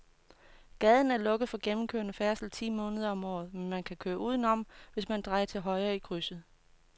Gaden er lukket for gennemgående færdsel ti måneder om året, men man kan køre udenom, hvis man drejer til højre i krydset.